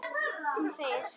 Hún þegir.